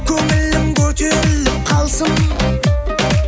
көңілің көтеріліп қалсын